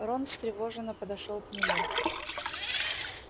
рон встревоженно подошёл к нему